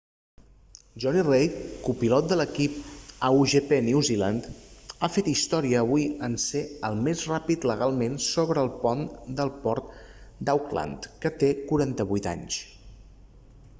jonny reid copilot de l'equip a1gp new zealand ha fet història avui en ser el més ràpid legalment sobre el pont del port d'auckland que té 48 anys